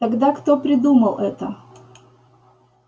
тогда кто придумал это